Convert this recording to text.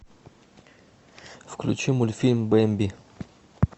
включи мультфильм бэмби